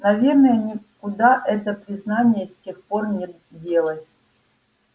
наверное никуда это признание с тех пор не делось